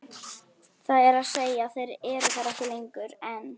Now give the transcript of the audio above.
Það er að segja þeir eru þar ekki lengur, en.